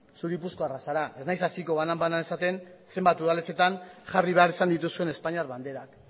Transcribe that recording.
zu gipuzkoarra zara ez naiz hasiko banan bana esaten zenbat udaletxeetan jarri behar izan dituzuen espainiar banderak